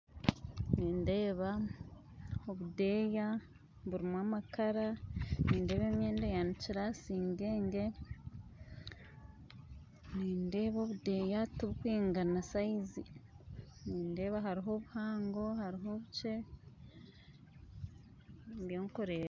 Nindeeba obudeya burimu amakaara, nindeeba emyenda eyanikyire aha singyengye, nindeeba obudeya tibukwingana sayizi, nindeeba hariho obuhango hariho obukye, nibyo nkureba.